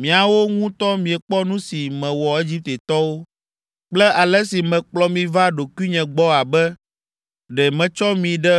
‘Miawo ŋutɔ miekpɔ nu si mewɔ Egiptetɔwo kple ale si mekplɔ mi va ɖokuinye gbɔ abe ɖe metsɔ mi ɖe